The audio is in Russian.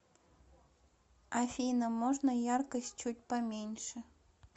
афина можно яркость чуть поменьше